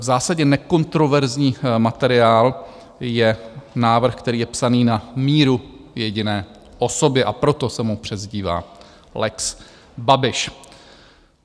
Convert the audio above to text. V zásadě nekontroverzní materiál je návrh, který je psán na míru jediné osobě, a proto se mu přezdívá lex Babiš.